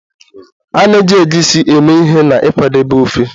A na-eji Egusi eme ihe n'ịkwadebe ofe